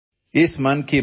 Audio